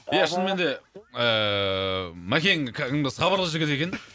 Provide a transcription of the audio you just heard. аха ия шынымен де ііі макең кәдімгі сабырлы жігіт екен